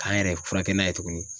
K'an yɛrɛ furakɛ n'a ye tuguni.